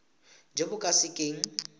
jo bo ka se keng